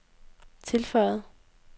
tilføjede